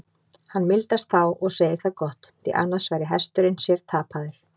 Hann mildast þá og segir það gott, því annars væri hesturinn sér tapaður.